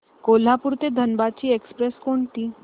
कोल्हापूर ते धनबाद ची एक्स्प्रेस कोणती